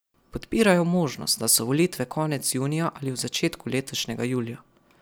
Podpirajo možnost, da so volitve konec junija ali v začetku letošnjega julija.